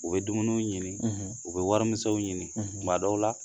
U bɛ dumuniw ɲini u bɛ warimisɛnw ɲini, tuma dɔw la